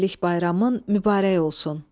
Həmrəylik bayramın mübarək olsun.